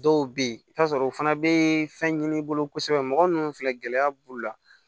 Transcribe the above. Dɔw bɛ yen i bɛ t'a sɔrɔ o fana bɛ fɛn ɲini i bolo kosɛbɛ mɔgɔ ninnu filɛ gɛlɛya b'u la